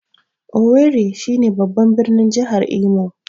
Owerri shi ne babban birnin jahar Imo